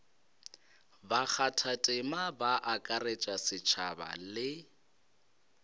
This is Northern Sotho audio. bakgathatema ba akaretša setšhaba le